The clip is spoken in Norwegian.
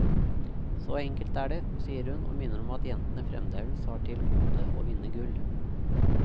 Så enkelt er det, sier hun og minner om at jentene fremdeles har til gode å vinne gull.